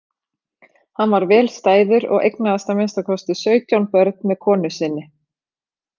Hann var vel stæður og eignaðist að minnsta kosti sautján börn með konu sinni.